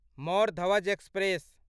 Mor Dhwaj express